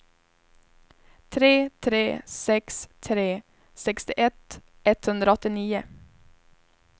tre tre sex tre sextioett etthundraåttionio